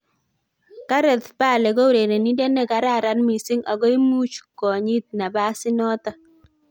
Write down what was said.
"Gareth Bale ko urerenindet ne kararan mising ago imuch konyit nabas inoton